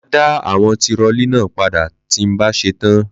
Mà á dá àwọn tirọlí náà padà tí n bá ṣe tán.